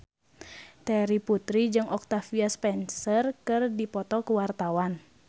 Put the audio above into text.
Terry Putri jeung Octavia Spencer keur dipoto ku wartawan